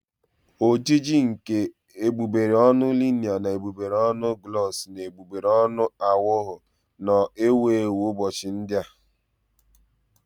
Ojiji nke egbugbere ọnụ liner na egbugbere ọnụ gloss na egbugbere ọnụ aghọwo nnọọ ewu ewu ụbọchị ndị a